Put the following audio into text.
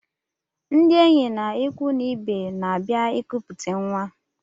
Ndị enyi na ịkwụ na ibe n'abia nkuputa nwa.